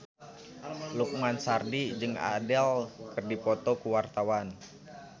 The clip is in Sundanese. Lukman Sardi jeung Adele keur dipoto ku wartawan